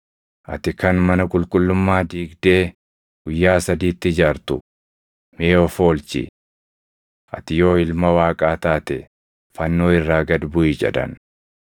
“Ati kan mana qulqullummaa diigdee guyyaa sadiitti ijaartu, mee of oolchi! Ati yoo Ilma Waaqaa taate fannoo irraa gad buʼi!” jedhan.